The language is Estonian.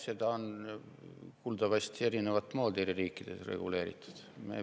Seda on kuuldavasti eri riikides reguleeritud erinevat moodi.